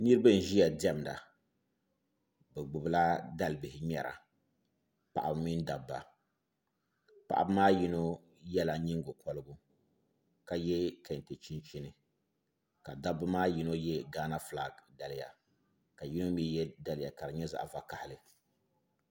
Niraba n ʒiya diɛmda bi gbubila dalibihi ŋmɛra paɣaba mini dabba paɣaba maa yino yɛla nyingokorigu ka yɛ kɛntɛ chinchini ka dabba maa yino yɛ gaana fulak daliya ka yino mii yɛ daliya ka di nyɛ zaɣ vakaɣali